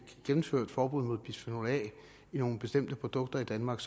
gennemført forbuddet mod bisfenol a i nogle bestemte produkter i danmark